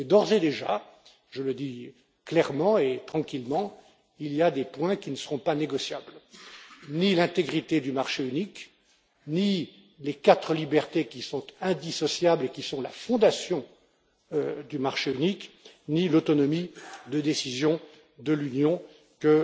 Mais, d'ores et déjà je le dis clairement et tranquillement il y a des points qui ne seront pas négociables ni l'intégrité du marché unique, ni les quatre libertés qui sont indissociables et sont la fondation du marché unique, ni l'autonomie de décision de l'Union,